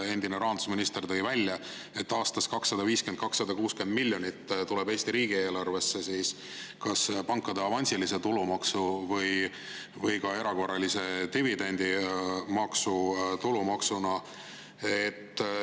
Endine rahandusminister tõi välja, et aastas tuleb 250–260 miljonit Eesti riigieelarvesse kas pankade avansilist tulumaksu või ka erakorralise dividendi maksu, tulumaksuna.